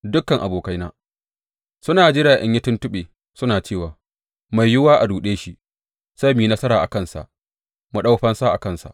Dukan abokaina suna jira in yi tuntuɓe, suna cewa, Mai yiwuwa a ruɗe shi; sai mu yi nasara a kansa mu ɗau fansa a kansa.